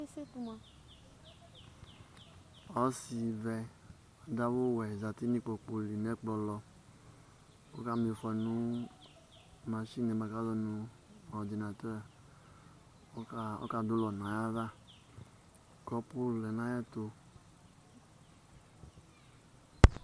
Esetu mʋa Ɔsɩvɛ adʋ awʋwɛ zati nʋ kpoku li nʋ ɛkplɔ lɔ kʋ ɔkama ɩfɔ nʋ masini yɛ kʋ azɔ nʋ ɔrdinat ɔkadʋ ʋlɔ nʋ ayava, kɔpʋ lɛ nʋ ayɛtʋ